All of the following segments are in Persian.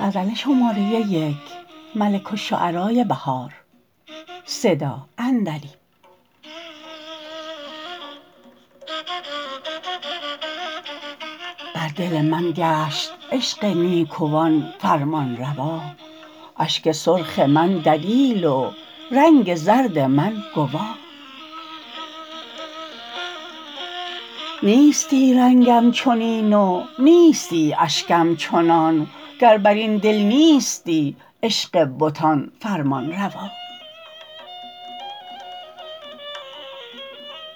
بر دل من گشت عشق نیکوان فرمان روا اشک سرخ من دلیل و رنگ زرد من گوا نیستی رنگم چنین و نیستی اشکم چنان گر بر این دل نیستی عشق بتان فرمانروا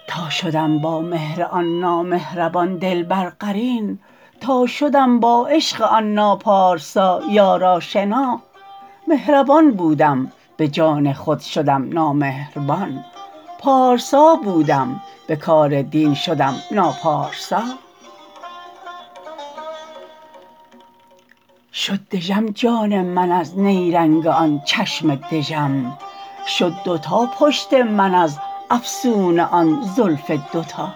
تا شدم با مهر آن نامهربان دلبر قرین تا شدم با عشق آن ناپارسا یار آشنا مهربان بودم به جان خود شدم نامهربان پارسا بودم به کار دین شدم ناپارسا شد دژم جان من از نیرنگ آن چشم دژم شد دوتا پشت من از افسون آن زلف دوتا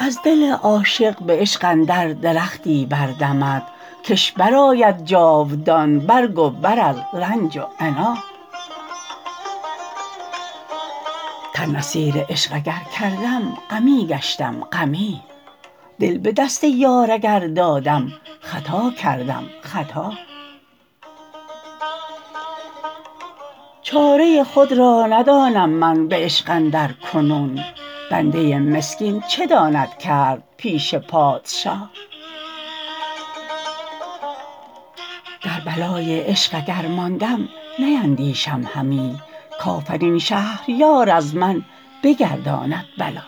از دل عاشق به عشق اندر درختی بردمد کش برآید جاودان برگ و بر از رنج و عنا تن اسیر عشق اگرکردم غمی گشتم غمی دل به دست یار اگر دادم خطا کردم خطا چاره ی خود را ندانم من به عشق اندرکنون بنده ی مسکین چه داند کرد پیش پادشا در بلای عشق اگر ماندم نیندیشم همی کافرین شهریار از من بگرداند بلا